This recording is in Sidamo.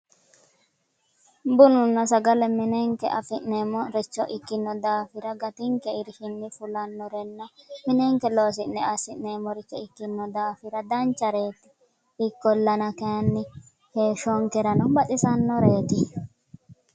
Bununna sagale minenke afi'neemmoha ikkino daafira uminke irshinni fulannorenna minenke loosi'ne assi'neemmoricho ikkino daafira danchareeti ikkollana kayinni heeshshonkerano baxisannoreeti